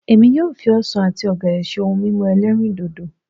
Èmi yóò fi ọsàn àti ọ̀gẹ̀dẹ̀ ṣe ohun mímu ẹlẹ́rìndòdò